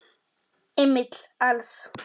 Emil Als.